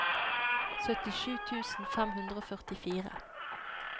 syttisju tusen fem hundre og førtifire